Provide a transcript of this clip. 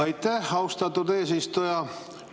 Aitäh, austatud eesistuja!